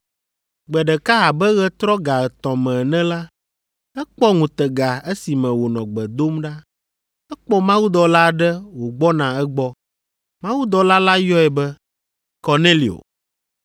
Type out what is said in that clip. Gbe ɖeka abe ɣetrɔ ga etɔ̃ me ene la, ekpɔ ŋutega esime wònɔ gbe dom ɖa. Ekpɔ mawudɔla aɖe wògbɔna egbɔ. Mawudɔla la yɔe be, “Kornelio!”